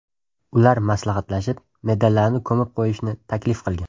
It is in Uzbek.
Ular maslahatlashib, medallarni ko‘mib qo‘yishni taklif qilgan.